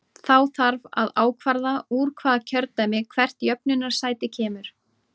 Þá þarf að ákvarða úr hvaða kjördæmi hvert jöfnunarsæti kemur.